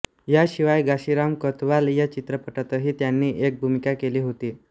याशिवाय घाशीराम कोतवाल या चित्रपटातही त्यांनी एक भूमिका केली होती